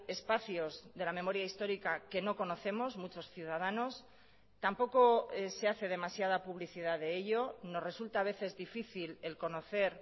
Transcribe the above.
espacios de la memoria histórica que no conocemos muchos ciudadanos tampoco se hace demasiada publicidad de ello nos resulta a veces difícil el conocer